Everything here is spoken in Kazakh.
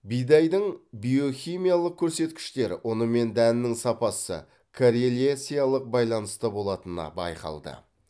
бидайдың биохимиялық көрсеткіштері ұны мен дәнінің сапасы коррелециялық байланыста болатыны байқалды